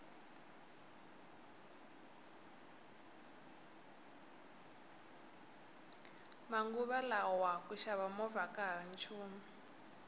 manguva lawa ku xava movha akahari nchumu